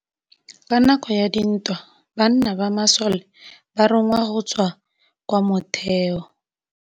Ka nakô ya dintwa banna ba masole ba rongwa go tswa kwa mothêô.